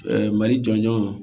mali jɔnjɔn